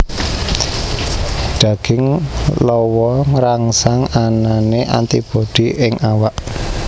Daging lawa ngrangsang anané antibodi ing awak